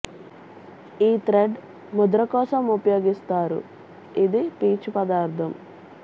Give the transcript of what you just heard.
ఈ థ్రెడ్ ముద్ర కోసం ఉపయోగిస్తారు ఇది పీచు పదార్థం